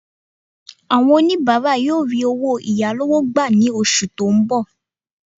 Àwọn oníbàárà yóò rí owó ìyálọ́wọ́ gbà ní oṣù tó ń bọ̀